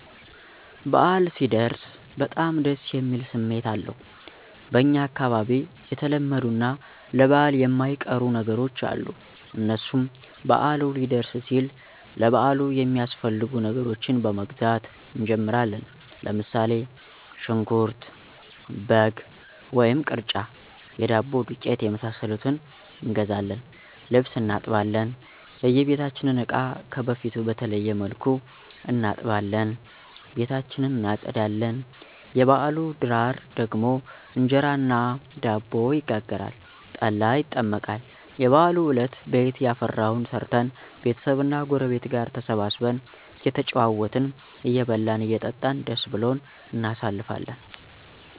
በአል ሲደርስ በጣም ደስ የሚል ስሜት አለዉ። በኛ አካባቢ የተለመዱ እና ለበአል የማይቀሩ ነገሮች አሉ። እነሱም በአሉ ሊደርስ ሲል ለበአሉ የሚያስፈልጉ ነገሮችን በመግዛት እንጀምራለን። ለምሳሌ ሽንኩርት፣ በግ ወይም ቅርጫ፣ የዳቦ ዱቄት የመሳሰሉትን እንገዛለን። ልብስ እናጥባለን፣ የበቤታችንን እቃ ከበፊቱ በተለየ መልኩ እናጥባለን፣ ቤታችን እናፀዳለን። የበአሉ ድራር ደግሞ እንጀራ እና ዳቦ ይጋገራል፣ ጠላ ይጠመቃል። የበአሉ አለት ቤት ያፈራዉን ሰርተን ቤተሰብ እና ጉረቤት ጋር ተሰባስበን እየተጨዋወትን አየበላን አየጠጣን ደስ ብሉን እናሳልፍለን